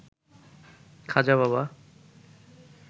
Khaja Baba